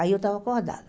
Aí eu estava acordada.